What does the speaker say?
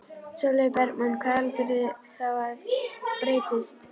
Sólveig Bergmann: Hvað heldurðu þá að breytist?